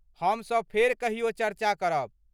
हमसभ फेर कहियो चर्चा करब।